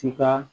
Tika